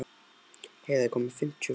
Heiða, ég kom með fimmtíu og fjórar húfur!